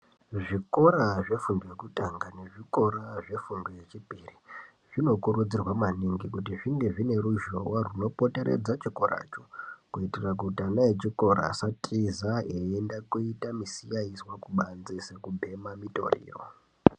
Zvikora zvefundo yekutanga nezvikora zvefundo yechipiri zvinokurudzirwa maningi kuti zvinge zvine ruzhowa runopoteredza chikora cho kuitira kuti ana echikora asatiza eienda koita musikazwa kubanze sekubhema mutoriro .